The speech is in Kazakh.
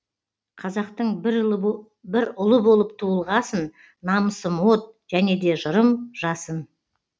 қазақтың бір ұлы болып туылғасын намысым от және де жырым жасын